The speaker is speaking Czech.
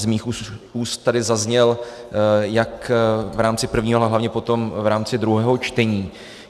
Z mých úst tady zazněl jak v rámci prvního, ale hlavně potom v rámci druhého čtení.